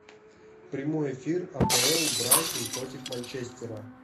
прямой эфир апл брайтон против манчестера